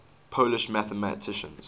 polish mathematicians